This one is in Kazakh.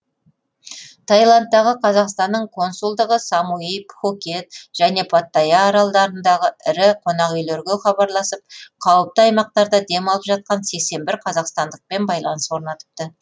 таиландтағы қазақстанның консулдығы самуи пхукет және паттайя аралдарындағы ірі қонақүйлерге хабарласып қауіпті аймақтарда демалып жатқан сексен бір қазақстандықпен байланыс орнатыпты